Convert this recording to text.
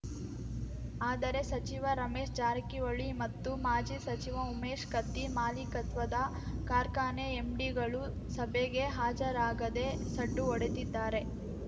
ಆದರೆ ಸಚಿವ ರಮೇಶ್‌ ಜಾರಕಿಹೊಳಿ ಮತ್ತು ಮಾಜಿ ಸಚಿವ ಉಮೇಶ್ ಕತ್ತಿ ಮಾಲೀಕತ್ವದ ಕಾರ್ಖಾನೆ ಎಂಡಿಗಳು ಸಭೆಗೆ ಹಾಜರಾಗದೇ ಸಡ್ಡು ಹೊಡೆದಿದ್ದಾರೆ